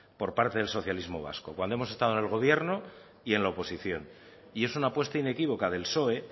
por parte del socialismos vasco cuando hemos estado en el gobierno y en la oposición y es una apuesta inequívoca del psoe